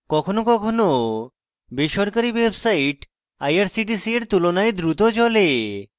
কখনো কখনো বেসরকারী websites irctc এর তুলনায় দ্রুত চলে